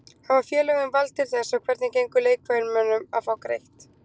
Hafa félögin vald til þess og hvernig gengur leikmönnum að fá greitt?